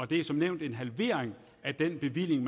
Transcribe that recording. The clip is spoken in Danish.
det er som nævnt en halvering af den bevilling